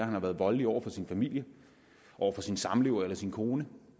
har været voldelig over for sin familie sin samlever eller sin kone